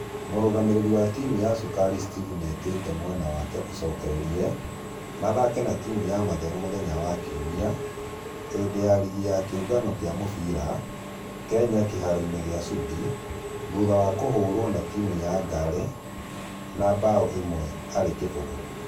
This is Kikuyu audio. Mũrugamĩrĩri wa timũ ya cukari steph nĩetete mwena wake macokererie ,mathaka na timũ ya mathĩra muthenya wa kiumia hĩndĩ ya rigi ya kĩũngano gia mũfira kenya kĩharo-inĩ gia sudi ,thutha wa kuhotwo na timũ ya ngare na bao ĩmwe kũrĩ kĩfũgũ